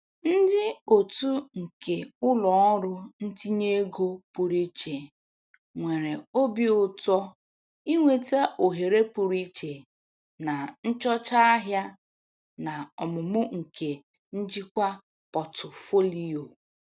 Ndị otu nke ụlọ ọrụ ntinye ego pụrụ iche nwere obi ụtọ inweta ohere pụrụ iche na nchọcha ahịa na ọmụmụ nke njikwa pọtụfoliyo.